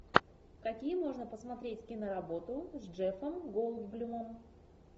какие можно посмотреть киноработы с джеффом голдблюмом